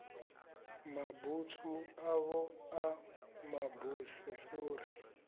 mabutswu avho a mabuse sori